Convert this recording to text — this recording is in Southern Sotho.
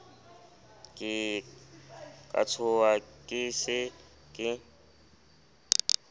ka tshoha ke se ke